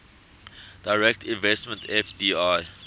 direct investment fdi